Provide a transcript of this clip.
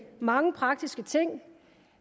mange praktiske ting